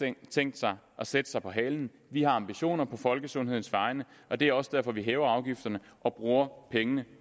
ikke tænkt sig at sætte sig på halen vi har ambitioner på folkesundhedens vegne og det er også derfor vi hæver afgifterne og bruger pengene